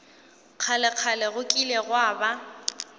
kgalekgale go kile gwa ba